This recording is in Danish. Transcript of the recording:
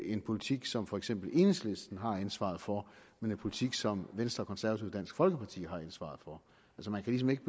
en politik som for eksempel enhedslisten har ansvaret for men en politik som venstre konservative og dansk folkeparti har ansvaret for så man kan ligesom ikke